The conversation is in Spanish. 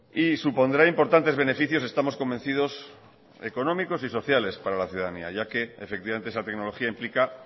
y supondrá importantes beneficios estamos convencidos económicos y sociales para la ciudadanía ya que efectivamente esa tecnología implica